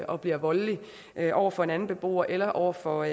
og bliver voldelig over for en anden beboer eller over for